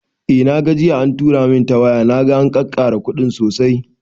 Eh na gani jiya an tura min ta waya, naga an kakkara kuɗin sosai